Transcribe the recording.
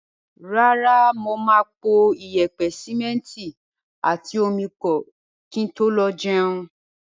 Rárá, mo máa po iyẹ̀pẹ̀, sìmẹ́ntì àti omi pọ̀ kí n tó lọ jẹun.